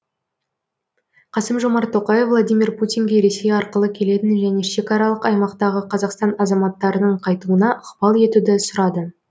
қасым жомарт тоқаев владимир путинге ресей арқылы келетін және шекаралық аймақтағы қазақстан азаматтарының қайтуына ықпал етуді сұрады